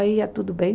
Aí ia tudo bem.